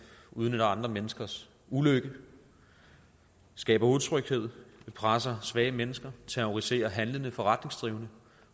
udnytter andre menneskers ulykke skaber utryghed presser svage mennesker terroriserer handlende og forretningsdrivende